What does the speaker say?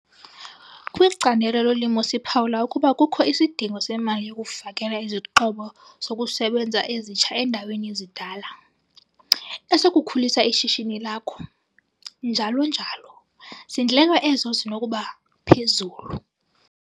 Kwicandelo lolimo siphawula ukuba kukho isidingo semali yokufakela izixhobo zokusebenza ezitsha endaweni yezidala, esokukhulisa ishishini lakho, njalo njalo, zindleko ezo zinokuba phezulu.